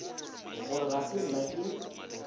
gore ga se nna ke